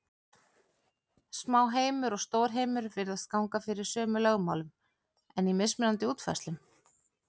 Smáheimur og stórheimur virðist ganga fyrir sömu lögmálum, en í mismunandi útfærslum.